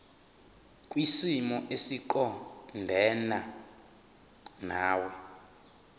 kwisimo esiqondena nawe